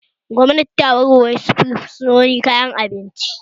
Gwamnati ta baiwa fursunoni wasu kayayyakin abinci